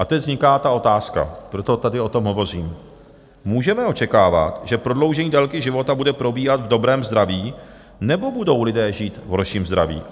A teď vzniká ta otázka, proto tady o tom hovořím: Můžeme očekávat, že prodloužení délky života bude probíhat v dobrém zdraví, nebo budou lidé žít v horším zdraví?